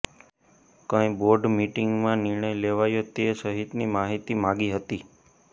કઇ બોર્ડ મિટિંગમાં નિર્ણય લેવાયો તે સહિતની માહિતી માગી હતી